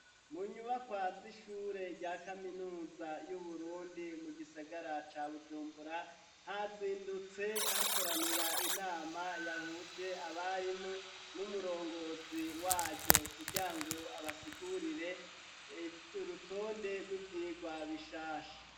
Mu nyubakwazi ishure rya kaminuza y'uburundi mu gisagara ca bujumbura hazindutse hakoranira inama yahuje abarimo n'umurongozi waryo kurya ngo abasigurire ivyo rutonde rw'ivyirwa bishasha.